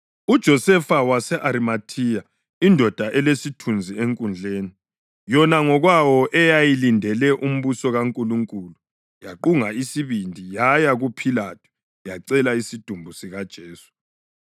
uJosefa wase-Arimathiya indoda elesithunzi eNkundleni, yona ngokwayo eyayilindele umbuso kaNkulunkulu, yaqunga isibindi yaya kuPhilathu yacela isidumbu sikaJesu.